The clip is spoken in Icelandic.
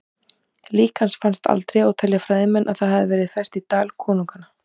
Lík hans fannst aldrei og telja fræðimenn að það hafi verið fært í Dal konunganna.